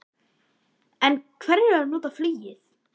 En hverjir eru að nota flugið?